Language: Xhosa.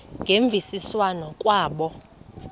ngemvisiswano r kwabo